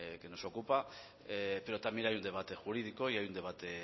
que nos ocupa pero también hay un debate jurídico y hay un debate